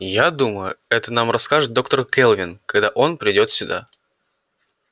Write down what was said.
я думаю это нам расскажет доктор кэлвин когда он придёт сюда